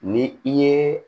Ni i ye